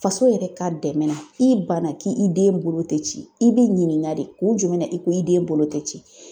Faso yɛrɛ ka dɛmɛ na i banna ki i den bolo tɛ ci i bi ɲininka de kun jumɛn na i ko i den bolo tɛ ci?